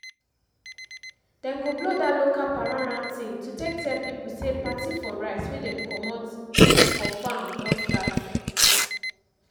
dem go blow dat local paranran thing to take tell pipo say party for rice wey dem comot for farm don start.